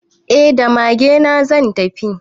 Eh da magena zan tafi.